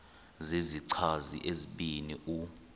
zizichazi ezibini u